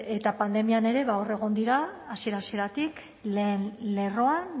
eta pandemia ere ba hor egon dira hasiera hasieratik lehen lerroan